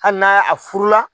Hali n'a a furu la